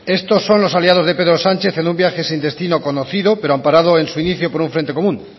estos son los aliados de pedro sánchez en un viaje sin destino conocido pero amparado en su inicio por un frente común